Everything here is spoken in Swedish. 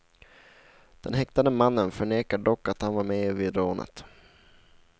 Den häktade mannen förnekar dock att han var med vid rånet.